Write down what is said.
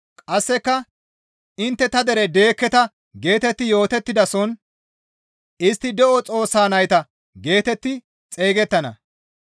Qasseka, ‹Intte ta dere deekketa› geetetti yootettidason, ‹Istti de7o Xoossa nayta› geetetti xeygettana.»